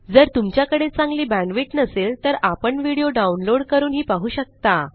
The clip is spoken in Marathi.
जर तुमच्याकडे चांगली बॅण्डविड्थ नसेल तर आपण व्हिडिओ डाउनलोड करूनही पाहू शकता